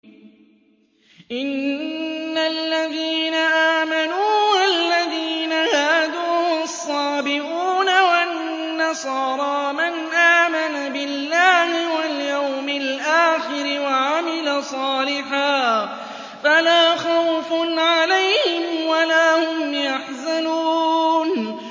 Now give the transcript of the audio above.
إِنَّ الَّذِينَ آمَنُوا وَالَّذِينَ هَادُوا وَالصَّابِئُونَ وَالنَّصَارَىٰ مَنْ آمَنَ بِاللَّهِ وَالْيَوْمِ الْآخِرِ وَعَمِلَ صَالِحًا فَلَا خَوْفٌ عَلَيْهِمْ وَلَا هُمْ يَحْزَنُونَ